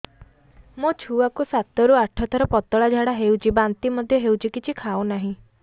ମୋ ଛୁଆ କୁ ସାତ ରୁ ଆଠ ଥର ପତଳା ଝାଡା ହେଉଛି ବାନ୍ତି ମଧ୍ୟ୍ୟ ହେଉଛି କିଛି ଖାଉ ନାହିଁ